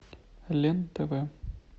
лен тв